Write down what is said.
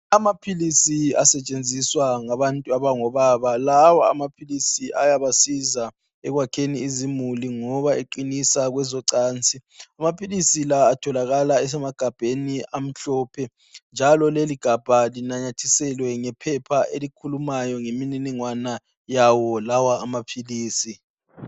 Amaphilisi asetshenziswa ngabantu abangobaba lawa amaphilisi ayabasiza ekwakheni izimuli ngoba eqinisa kwezocansi. Amaphilisi la atholakala esemagabheni amhlophe njalo leli gabha linanyathiselwe ngephepha elikhulumayo imininingwane lawa maphilisi